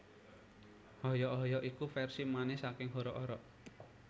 Hoyok hoyok iku versi manis saking Horok Horok